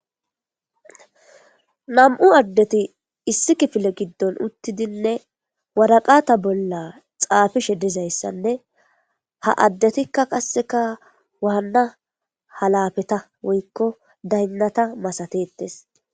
nam7u addeti issi kifile giddon uttidinne waraqata bolla xaafishe dizayssanne ha addetikka qasseka waanna halafeta woykko daynnata masatettes